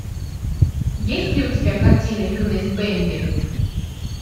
есть ли у тебя картина юность бэмби